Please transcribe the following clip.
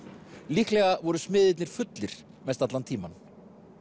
líklega voru smiðirnir fullir mest allan tímann